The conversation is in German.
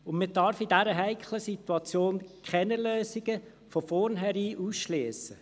Man darf in dieser heiklen Situation keine Lösungen von vornherein ausschliessen.